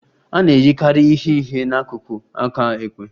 A na-eyikarị ihe ihe n'akụkụ aka ekpe.